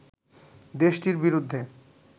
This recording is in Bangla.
দেশটির বিরুদ্ধে